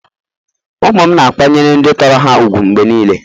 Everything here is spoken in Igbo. Ụmụ m na-akwanyere ndị tọrọ ha ùgwù mgbe niile.